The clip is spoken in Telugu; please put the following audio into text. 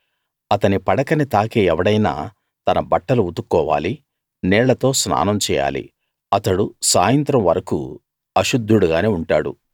అతని పడకని తాకే ఎవడైనా తన బట్టలు ఉతుక్కోవాలి నీళ్ళతో స్నానం చేయాలి అతడు సాయంత్రం వరకూ అశుద్ధుడు గానే ఉంటాడు